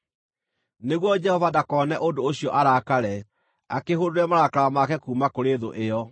nĩguo Jehova ndakone ũndũ ũcio arakare, akĩhũndũre marakara make kuuma kũrĩ thũ ĩyo.